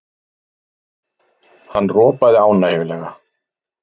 Hann ropaði ánægjulega.